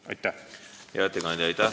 Hea ettekandja, aitäh!